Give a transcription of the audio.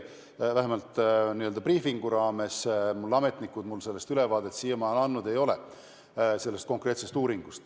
Vähemalt briifingute ajal mulle ametnikud sellest konkreetsest uuringust ülevaadet siiani andnud ei ole.